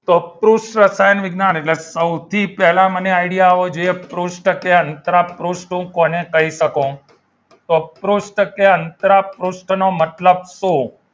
તો કૃષ્ણ શરણ વિજ્ઞાન એટલે સૌથી પહેલા મને idea આવવો જોઈએ કોને કઈ સકું અંતર પૃષ્ટ નો મતલબ સુ?